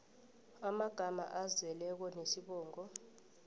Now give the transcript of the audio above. amagama azeleko nesibongo